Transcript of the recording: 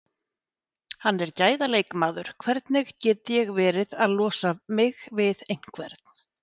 Hann er gæða leikmaður, hvernig get ég verið að losa mig við einhvern?